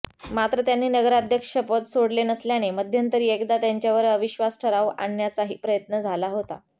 मात्र त्यांनी नगराध्यक्षपद सोडले नसल्याने मध्यंतरी एकदा त्यांच्यावर अविश्वास ठराव आणण्याचाही प्रयत्न झाला होता